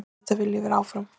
Auðvitað vil ég vera áfram.